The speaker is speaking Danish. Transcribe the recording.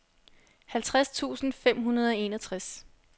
halvtreds tusind fem hundrede og enogtres